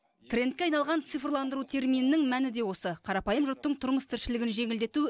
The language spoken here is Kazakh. трендке айналған цифрландыру терминінің мәні де осы қарапайым жұрттың тұрмыс тіршілігін жеңілдету